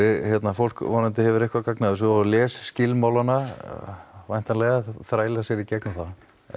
fólk vonandi hefur eitthvað gagn af þessu og les skilmálana væntanlega þrælar sér í gegnum þá